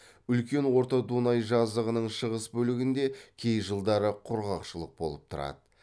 үлкен орта дунай жазығының шығыс бөлігінде кей жылдары құрғақшылық болып тұрады